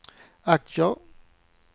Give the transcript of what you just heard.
aktier